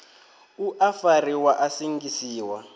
u a fariwa a sengisiwa